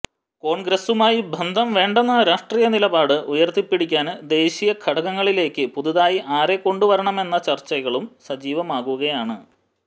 കോണ്ഗ്രസുമായി ബന്ധം വേണ്ടെന്ന രാഷ്ട്രീയ നിലപാട് ഉയര്ത്തിപ്പിടിക്കാന് ദേശീയ ഘടകങ്ങളിലേക്ക് പുതുതായി ആരെ കൊണ്ട് വരണമെന്ന ചര്ച്ചകളും സജീവമാകുകയാണ്